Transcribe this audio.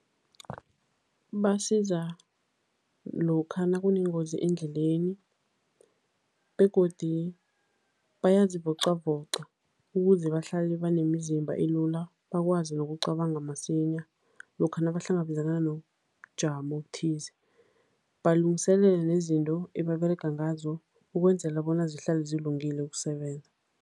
Basiza lokha nakunengozi endleleni begodi bayazivocavoca ukuze bahlale banemizimba elula, bakwazi nokucabanga masinya lokha nabahlangabezana nobujamo obuthize, balungiselela nezinto ebaberega ngazo ukwenzela bona zihlale zilungele ukusebenza.